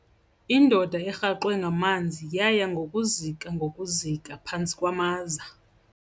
Indoda erhaxwe ngamanzi yaya ngokuzika ngokuzika phantsi kwamaza.